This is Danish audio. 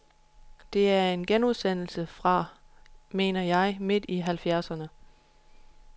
Det er en genudsendelse fra, mener jeg, midt i halvfjerdserne.